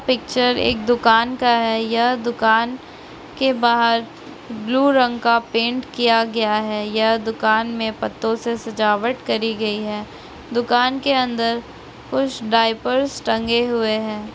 Picture एक दुकान का है यह दुकान के बाहर ब्लू रंग का पेंट किया गया है यह दुकान में पत्तों से सजावट करी गई है दुकान के अंदर कुछ डायपर्स टंगे हुए हैं।